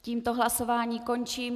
Tímto hlasování končím.